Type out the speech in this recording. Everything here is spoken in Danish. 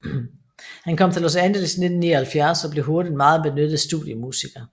Han kom til Los Angeles i 1979 og blev hurtigt en meget benyttet studiemusiker